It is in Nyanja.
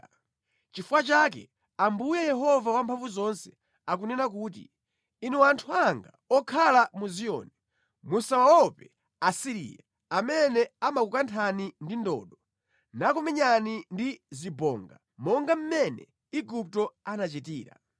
Nʼchifukwa chake, Ambuye Yehova Wamphamvuzonse akunena kuti, “Inu anthu anga okhala mu Ziyoni, musawaope Asiriya, amene amakukanthani ndi ndodo nakumenyani ndi zibonga monga mmene Igupto anachitira.